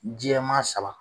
Jɛma saba